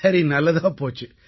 சரி நல்லதாகப் போயிற்று